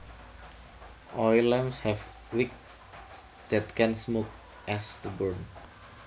Oil lamps have wicks that can smoke as the burn